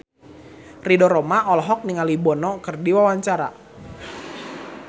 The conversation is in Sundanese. Ridho Roma olohok ningali Bono keur diwawancara